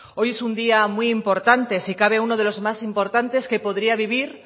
hoy es un día muy importante si cabe uno de los más importantes que podría vivir